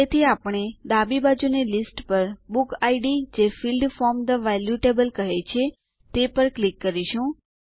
તેથી આપણે ડાબી બાજુની લીસ્ટ પર બુક ઇડ જે field from the value table કહે છે તે પર ક્લિક કરીશું